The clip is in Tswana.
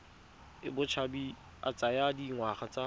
a botshabi a tsaya dingwaga